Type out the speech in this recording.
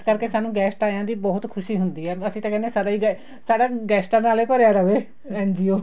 ਇਸ ਕਰਕੇ ਸਾਨੂੰ guest ਆਇਆ ਬਹੁਤ ਖੁਸ਼ੀ ਹੁੰਦੀ ਏ ਅਸੀਂ ਤਾਂ ਕਹਿੰਦੇ ਹਾਂ ਸਾਰੇ ਹੀ guest ਸਾਡਾ ਗੈਸਟਾ ਨਾਲ ਹੀ ਭਰਿਆ ਰਵੇ NGO